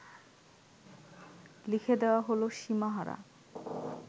লিখে দেওয়া হল সীমাহারা